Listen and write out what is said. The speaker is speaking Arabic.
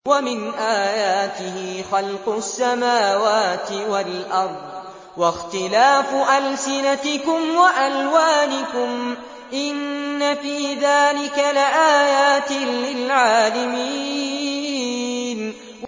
وَمِنْ آيَاتِهِ خَلْقُ السَّمَاوَاتِ وَالْأَرْضِ وَاخْتِلَافُ أَلْسِنَتِكُمْ وَأَلْوَانِكُمْ ۚ إِنَّ فِي ذَٰلِكَ لَآيَاتٍ لِّلْعَالِمِينَ